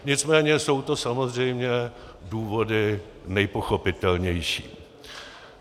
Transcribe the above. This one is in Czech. Nicméně jsou to samozřejmě důvody nejpochopitelnější.